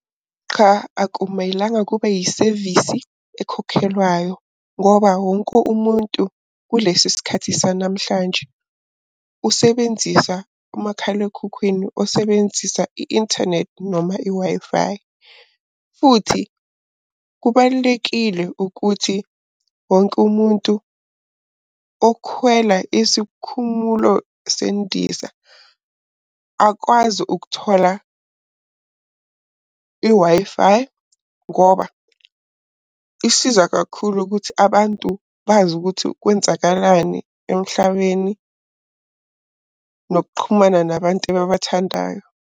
Qha akumelanga kube isevisi ekhokhelwayo ngoba wonke umuntu kulesi sikhathi sanamhlanje usebenzisa umakhalekhukhwini osebenzisa i-inthanethi noma i-Wi-Fi. Futhi kubalulekile ukuthi wonke umuntu okhwela isikhumulo sendiza, akwazi ukuthola i-Wi-Fi ngoba isiza kakhulu ukuthi abantu bazi ukuthi kwenzakalani emhlabeni, nokuxhumana nabantu ababathandayo.